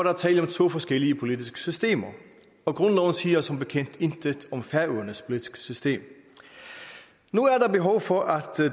er tale om to forskellige politiske systemer og grundloven siger som bekendt intet om færøernes politiske system nu er der behov for at